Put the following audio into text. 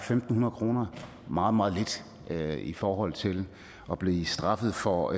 fem hundrede kroner meget meget lidt i forhold til at blive straffet for